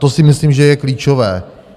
To si myslím, že je klíčové.